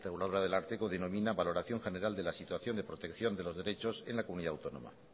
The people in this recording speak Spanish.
reguladora del ararteko denomina valoración general de la situación de protección de los derechos en la comunidad autónoma